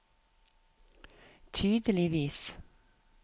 tydeligvis